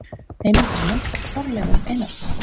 Heimildir og mynd: Þorleifur Einarsson.